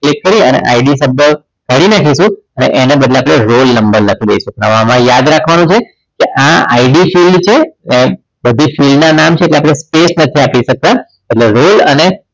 click કરી ID સંપર્ક કરીને જઈશું એને બદલે આપણે roll number લખી દઈશું નવામાં યાદ રાખવાનું છે આ id field છે બધી જ field ના નામ છે એક સરખી આપી શકતા એટલે roll અને